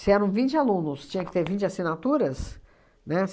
Se eram vinte alunos, tinha que ter vinte assinaturas, né?